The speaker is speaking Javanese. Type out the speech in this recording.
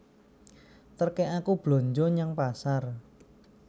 Terké aku blanja nyang pasar